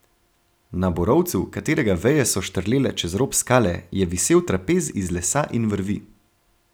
Na borovcu, katerega veje so štrlele čez rob skale, je visel trapez iz lesa in vrvi.